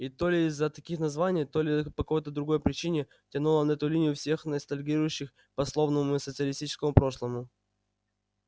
и то ли из-за таких названий то ли по какой-то другой причине тянуло на эту линию всех ностальгирующих по славному социалистическому прошлому